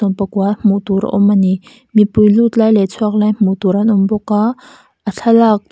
sawmpakua hmuh tur a awm ani mipui lut lai leh chhuak lai hmuh tur an awm bawk a a thlalak--